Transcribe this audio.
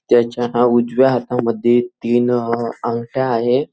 त्याच्या ह्या उजव्या हातामध्ये तीन अंगठ्या आहेत.